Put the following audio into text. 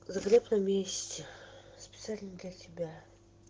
запрет на месте специально для тебя